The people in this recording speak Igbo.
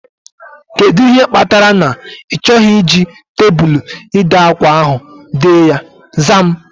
Kedụ ihe kpatara na ị chọghị iji tebụlu ide ákwá ahu dee ya? Zaa m